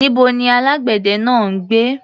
Níbo ni alágbẹ̀dẹ náà ń gbé?